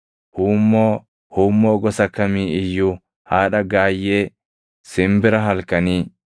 huummoo, huummoo gosa kamii iyyuu, haadha gaayyee, simbira halkanii.